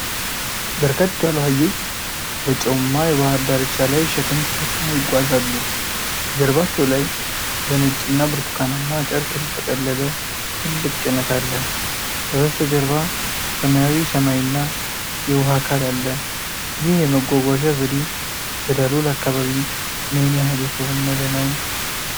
በርከት ያሉ አህዮች በጨውማ የባህር ዳርቻ ላይ ሸክም ተሸክመው ይጓዛሉ። ጀርባቸው ላይ በነጭና ብርቱካናማ ጨርቅ የተጠቀለለ ትልቅ ጭነት አለ። ከበስተጀርባ ሰማያዊ ሰማይና የውሃ አካል አለ። ይህ የመጓጓዣ ዘዴ በዳሎል አካባቢ ምን ያህል የተለመደ ነው?